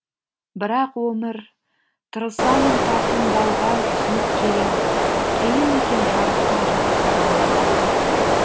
бірақ өмір тырысамын тартынбауға түсініп келем қиын екен жарыққа жарқылдауға